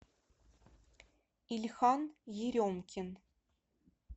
ильхан еремкин